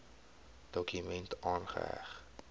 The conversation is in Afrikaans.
dokument aangeheg